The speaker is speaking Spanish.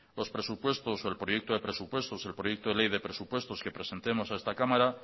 los presupuestos o el proyecto de presupuesto el proyecto de ley de presupuestos que presentemos a esta cámara